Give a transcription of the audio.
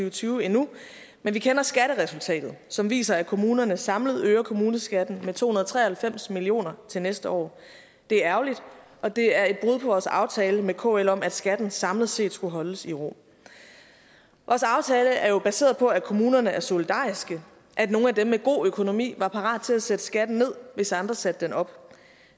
og tyve endnu men vi kender skatteresultatet som viser at kommunerne samlet øger kommuneskatten med to hundrede og tre og halvfems million kroner til næste år det er ærgerligt og det er et brud vores aftale med kl om at skatten samlet set skulle holdes i ro vores aftale er jo baseret på at kommunerne er solidariske at nogle af dem med god økonomi var parate til at sætte skatten ned hvis andre sætte den op